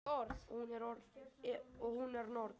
Og hún er norn.